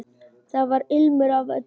Þar var ilmur af öllu.